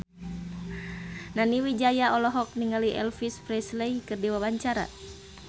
Nani Wijaya olohok ningali Elvis Presley keur diwawancara